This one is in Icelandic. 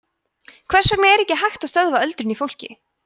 hvers vegna er ekki hægt að stöðva öldrun í fólki